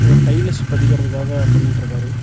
ஏதோ டைல்ஸ் பதிக்கிறதுக்காக பண்ணிட்டு இருக்காரு.